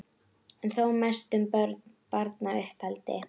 en þó mest um börn og barnauppeldi.